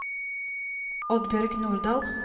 Oddbjørg Nordal